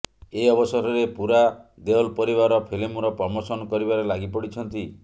ଏ ଅବସରରେ ପୂରା ଦେଓଲ ପରିବାର ଫିଲ୍ମର ପ୍ରମୋଶନ କରିବାରେ ଲାଗିପଡ଼ିଛନ୍ତି